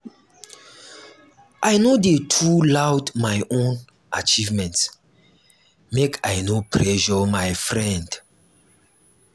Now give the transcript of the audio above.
i no dey too loud my own achievement make i no pressure my friend.